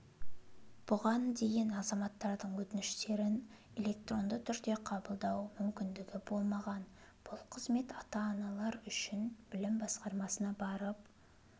бұған дейін азаматтардың өтініштерін электронды түрде қабылдау мүмкіндігі болмаған бұл қызмет ата-аналар үшін білім басқармасына барып